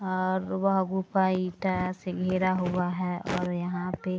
और वह गुंफा ईटा से घिरा हुवा है और यहाँ पे --